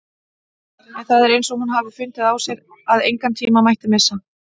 En það er eins og hún hafi fundið á sér að engan tíma mætti missa.